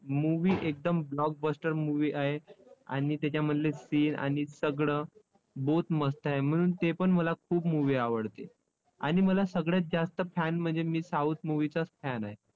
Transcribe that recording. movie एकदम blockbuster movie आहे. आणि तेच्यामधले scene आणि सगळं both मस्त आहे, म्हणून ते पण मला खूप movie आवडते. आणि मला सगळ्यात जास्त fan म्हणजे मी south movie चाच fan आहे.